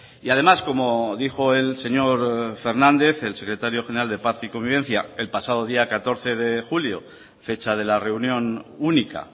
y además como dijo el señor fernández el secretario general de paz y convivencia el pasado día catorce de julio fecha de la reunión única